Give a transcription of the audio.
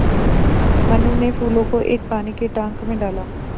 मनु ने फूलों को एक पानी के टांक मे डाला